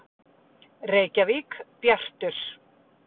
Reykjavík: Bjartur.